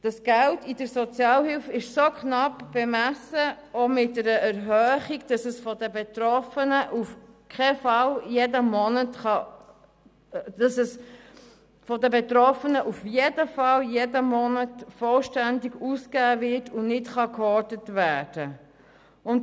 Das Geld in der Sozialhilfe ist auch mit einer Erhöhung so knapp bemessen, dass es von den Betroffenen auf jeden Fall jeden Monat vollständig ausgegeben wird und nicht gehortet werden kann.